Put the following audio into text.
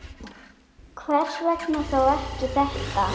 Hvers vegna þá ekki þetta?